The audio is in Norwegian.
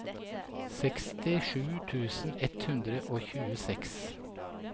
sekstisju tusen ett hundre og tjueseks